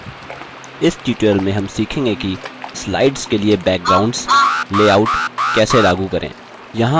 इस tutorial में हम यह सीखेंगे कि slides के लिए backgrounds लेआउट कैसे लागू करें